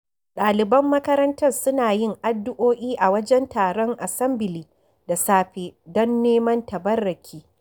Ɗaliban makarantar suna yin addu'o'i a wajen taron asambili da safe don neman tabarruki.